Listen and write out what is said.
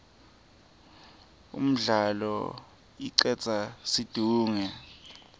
umdlalo icedza situnge